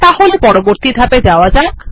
তাহলে পরবর্তী ধাপে যাওয়া যাক